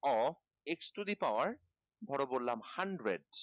x to the power ধর বললাম hundred